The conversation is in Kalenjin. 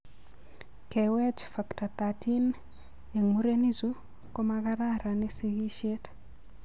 Kewech Factor XIII eng' murenichu komakararani sigishet.